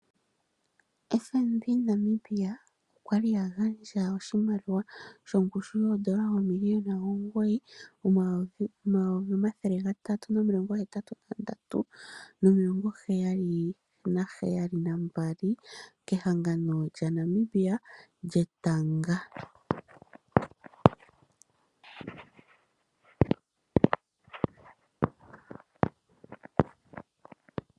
FNB Namibia okwa gandja oshimaliwa shongushu yoodola dhaNamibia oomiliona omugoyi omayovi gatatu nomilongo hetatu nandatu, omathele gaheyali nomilongo heyali nambali (N$ 9 383 772.00) kehangano lyaNamibia lyetanga.